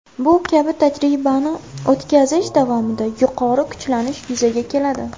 Bu kabi tajribani o‘tkazish davomida yuqori kuchlanish yuzaga keladi.